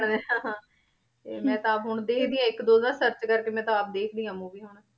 ਹਾਂ ਹਾਂ ਤੇ ਮੈਂ ਤਾਂ ਆਪ ਹੁਣ ਦੇਖਦੀ ਹਾਂ ਇੱਕ ਦੋ ਦਾ search ਕਰਕੇ ਮੈਂ ਤਾਂ ਆਪ ਦੇਖਦੀ ਹਾਂ movie ਹੁਣ।